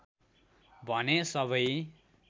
भने सबै